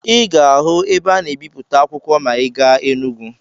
Ị ga-ahụ ebe a na-ebipụta akwụkwọ ma ị gaa Enugwu.